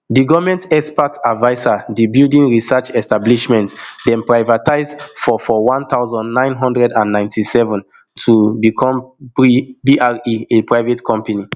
di goment expert adviser di building research establishment dem privatise for for one thousand, nine hundred and ninety-seven to become bre a private company